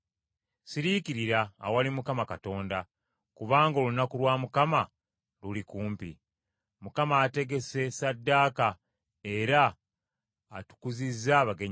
Siriikirira awali Mukama Katonda, kubanga olunaku lwa Mukama luli kumpi. Mukama ategese ssaddaaka, era atukuzizza abagenyi be.